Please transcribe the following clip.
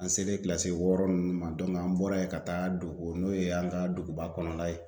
An selen kilasi wɔɔrɔ ninnu an bɔra yen ka taa Dogo n'o ye an ka duguba kɔnɔna ye